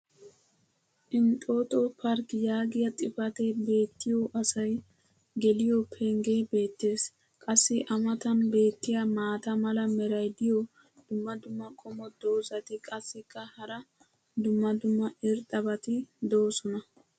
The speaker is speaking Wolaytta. "Entoto park" yaagiya xifatee beetiyo asay geliyo pengee beetees. qassi a matan beetiya maata mala meray diyo dumma dumma qommo dozzati qassikka hara dumma dumma irxxabati doosona.